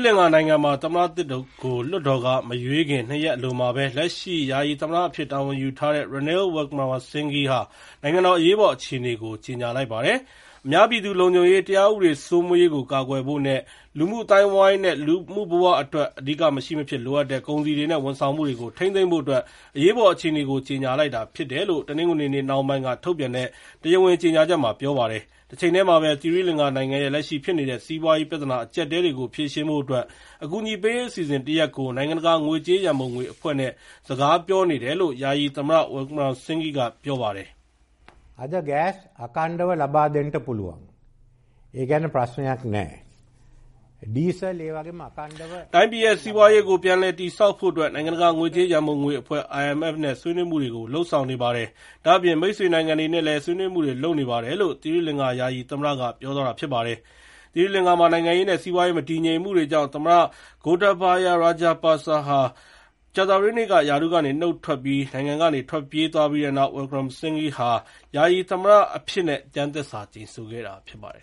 လင်္ကာနိုင်ငံမှာ သမ္မတသစ်ကို လွှတ်တော်က မရွေးချယ်ခင် ၂ ရက်အလိုမှာပဲ၊ လက်ရှိယာယီသမ္မတအဖြစ် တာဝန်ယူထားတဲ့ Ranil Wickremesighe က နိုင်ငံတော်အရေးပေါ် အခြေအနေကို ကြေငြာလိုက်ပါတယ်။ အများပြည်သူလုံခြုံရေး၊ တရားဥပဒေစိုးမိုးရေးကိုကာကွယ်ဖို့နဲ့ လူမှုအသိုင်းအဝိုင်းနဲ့ လူမှုဘဝတွေအတွက် အဓိကမရှိမဖြစ်လိုအပ်တဲ့ ကုန်စည်တွေနဲ့ ဝန်ဆောင်မှုတွေကို ထိန်းသိမ်းဖို့အတွက် အရေးပေါ် အခြေအနေကို ကြေငြာလိုက်တာဖြစ်တယ်လို့ တနင်္ဂနွေနေ့ နှောင်းပိုင်းက ထုတ်ပြန်တဲ့တရားဝင်ကြေငြာချက်မှာ ပြောပါတယ်။ တချိန်တည်းမှာပဲ သီရိလင်္ကာနိုင်ငံရဲ့ လက်ရှိဖြစ်နေတဲ့ စီးပွားရေး ပြဿနာအကျပ်အတည်းတွေကို ဖြေရှင်းဖို့အတွက် အကူအညီပေးရေးအစီအစဉ်တရပ်ကို နိုင်ငံတကာငွေကြေးရန်ပုံငွေအဖွဲ့ နဲ့ စကားပြောနေတယ်လို့ ယာယီသမ္မတ Wickremesinghe က ပြောပါတယ်။ “တိုင်းပြည်ရဲ့ စီးပွားရေးကို ပြန်တည်ဆောက်ဖို့အတွက် နိုင်ငံတကာငွေကြေးရန်ပုံငွေအဖွဲ့ IMF နဲ့ ဆွေးနွေးမှုတွေကို လုပ်ဆောင်နေပါတယ်။ ဒါ့အပြင် မိတ်ဆွေနိုင်ငံတွေနဲ့လည်း ဆွေးနွေးမှုတွေ လုပ်နေပါတယ်လို့” သီရိလင်္ကာ ယာယီသမ္မတက Wickremesinghe က ပြောသွားတာဖြစ်ပါတယ်။ သီရီလင်္ကာနိုင်ငံမှာ နိုင်ငံရေးနဲ့စီးပွားရေး မတည်ငြိမ်မှုတွေကြောင့် သမ္မတ Gotabaya Rajapaksa ဟာ ကြာသပတေးနေ့က ရာထူးက နုတ်ထွက်ပြီး နိုင်ငံကနေထွက်ပြေးသွားခဲ့ပြီးတဲ့နောက် Wikremesinghe က ယာယီသမ္မတအဖြစ်နဲ့ ကျမ်းသစ္စာကျိန်ဆိုခဲ့တာဖြစ်ပါတယ်